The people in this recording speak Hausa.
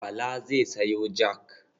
Bala zai sayo jak.